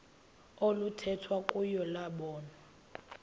oluthethwa kuyo lobonwa